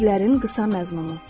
Sirlərin qısa məzmunu.